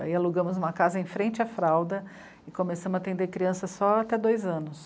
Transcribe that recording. Aí alugamos uma casa em frente à fralda e começamos a atender crianças só até dois anos.